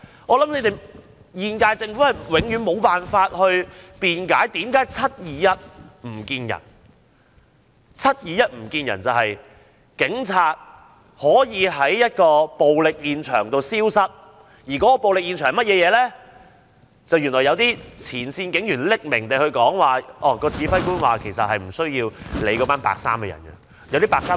我想本屆政府永遠無法辯解為何 "721 唔見人"，就是在7月21日當天，警察為何在暴力現場消失，然後有前線警員以匿名方式透露，指揮官曾表示不用理會那些"白衣人"。